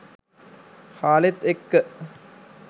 කාලෙත් එක්ක.